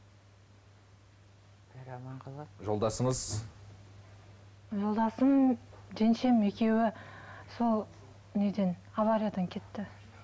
жолдасыңыз жолдасым жеңешем екеуі сол неден авариядан кетті